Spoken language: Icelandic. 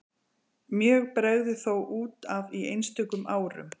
Mjög bregður þó út af í einstökum árum.